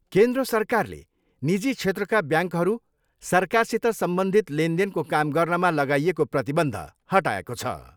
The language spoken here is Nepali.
केन्द्र सरकारले निजी क्षेत्रका ब्याङ्कहरू सरकारसित सम्बन्धित लेनदेनको काम गर्नमा लगाइएको प्रतिबन्ध हटाएको छ।